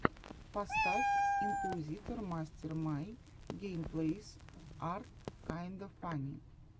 поставь инкуизитор мастер май геймплэйс ар кайнда фанни